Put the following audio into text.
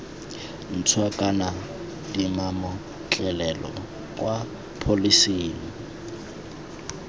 ntšhwa kana dimametlelelo kwa pholising